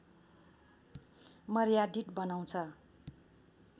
मर्यादित बनाउँछ